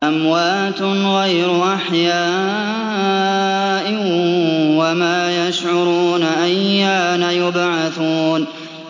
أَمْوَاتٌ غَيْرُ أَحْيَاءٍ ۖ وَمَا يَشْعُرُونَ أَيَّانَ يُبْعَثُونَ